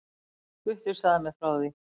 Gutti sagði mér frá því.